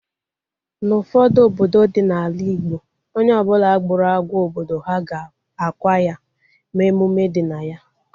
N'ufodu obodo dị n'ala igbo, onye ọbụla gburu agwọ obodo ha ga-akwa ya, mee emume dị na ya